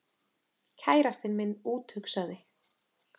Kærastinn minn úthugsaði